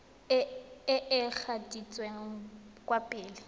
e e gatetseng kwa pele